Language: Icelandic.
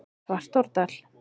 Svartárdal